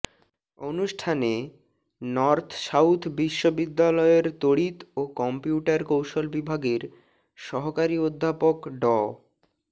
অনুষ্ঠানে North South বিশ্ববিদ্যালয়ের তড়িৎ ও কম্পিউটার কৌশল বিভাগের সহকারি অধ্যাপক ড